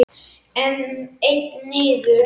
Einn niður?